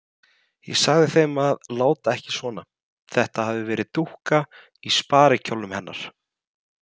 Ég sagði þeim að láta ekki svona, þetta hefði verið dúkka í sparikjólnum hennar.